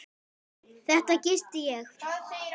Þarna gisti ég.